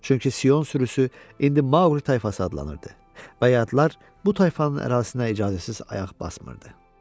Çünki Sion sürüsü indi Maqli tayfası adlanırdı və yadlar bu tayfanın ərazisinə icazəsiz ayaq basmırdı.